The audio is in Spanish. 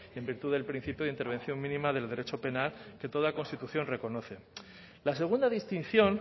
que en virtud del principio de intervención mínima del derecho penal que toda constitución reconoce la segunda distinción